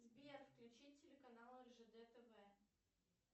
сбер включи телеканал ржд тв